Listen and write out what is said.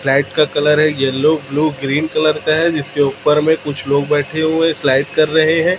Slide का colour है yellow blue green colour का है जिसके ऊपर में कुछ लोग बैठे हुए स्लाइड कर रहे हैं।